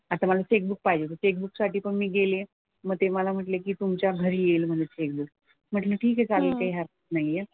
आता मला चेकबुक पाहिजे होतं. चेकबुक साठी पण मी गेली आहे मग ते मला म्हंटले की तुमच्या घरी येईल म्हणजे चेकबुक. म्हंटलं ठीक आहे चालतंय. काही हरकत नाही आहे.